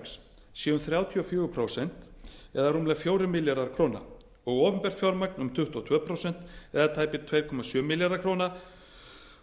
fjármagn sé um þrjátíu og fjögur prósent eða rúmlega fjórir milljarðar króna og opinbert fjármagn um tuttugu og tvö prósent eða tæplega tvö komma sjö milljarðar króna